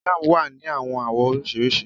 Jam wa Ni awọn awọ oriṣiriṣi